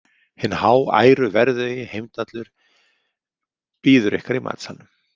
Hinn háæruverðugi Heimdallur bíður ykkar í matsalnum.